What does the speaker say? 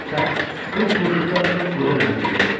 qız bu işıqda öz qoca nənəsini gördü.